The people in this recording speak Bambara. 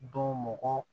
Don mɔgɔ